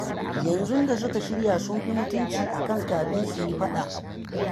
Yanzu da suka shirya sun fi mutunci a kan kafin su yi faɗa